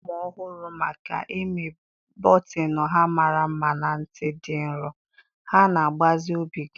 A maara ụmụ ọhụrụ maka imi bọtịnụ ha mara mma na ntì dị nro. Ha na-agbaze obi gị.